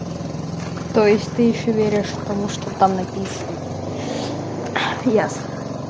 то есть ты ещё веришь тому что там написано ясно